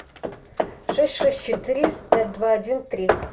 шесть шесть четыре пять два один три